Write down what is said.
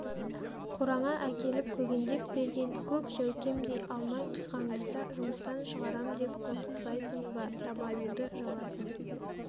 қораңа әкеліп көгендеп берген көк жәукемдей алмай қиқаңдаса жұмыстан шығарам деп қорқытпайсың ба табаныңды жаласын